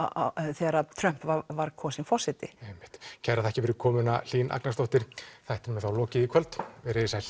þegar Trump var kosinn forseti einmitt takk fyrir komuna Hlín Agnarsdóttir þættinum er þá lokið í kvöld verið þið sæl